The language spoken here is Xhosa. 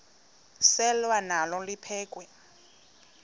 selwa nalo liphekhwe